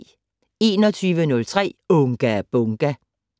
21:03: Unga Bunga!